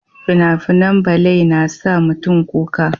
fina-finan balai na sa mutum kuka